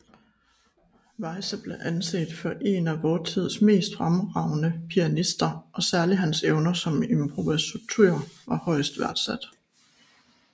Weyse blev anset for en af sin tids mest fremragende pianister og særlig hans evner som improvisator var højt værdsat